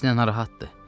Əksinə narahatdır.